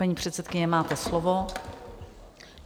Paní předsedkyně, máte slovo.